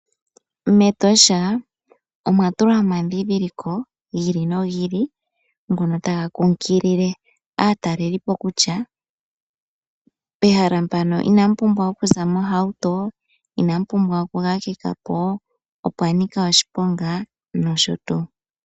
MEtosha omwa tulwa omandhindhiliko gi ili no gi ili, ngono taga kunkilile aatalelipo kutya pehala mpano ina mu pumbwa okuza mo mohauto, ina mu pumbwa okukakeka po, opwa nika oshiponga nosho tuu.